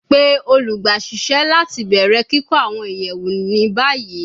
Pe olugbaisese lati bẹrẹ kikọ awọn iyẹwu ni bayi